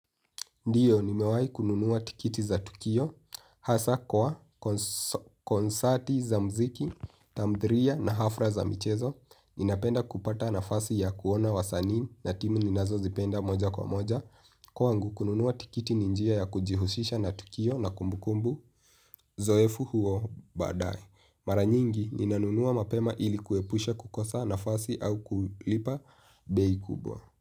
Ndio nimewai kununua tikiti za tukio, hasa kwa, konsati za mziki, tamdhiriya na hafra za michezo. Ninapenda kupata nafasi ya kuona wasanii na timu ninazo zipenda moja kwa moja. Kwangu, kununua tikiti ni njia ya kujihushisha na tukio na kumbukumbu zoefu huo, badae. Maranyingi, ninanunua mapema ilikuepusha kukosa nafasi au kulipa bei kubwa.